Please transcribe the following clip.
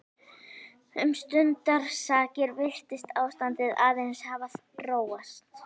Um stundarsakir virtist ástandið aðeins hafa róast.